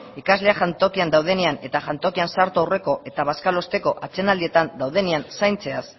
ikasleak jantokian daudenean eta jantokian sartu aurreko eta bazkal osteko atsedenaldietan daudenean zaintzeaz